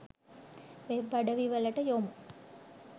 web අඩවිවලට යොමු